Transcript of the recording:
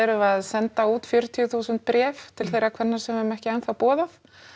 að senda út fjörutíu þúsund bréf til þeirra kvenna sem við höfum ekki enn þá boðað